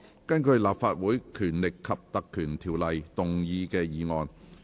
根據《立法會條例》動議的議案。